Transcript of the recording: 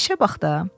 İşə bax da.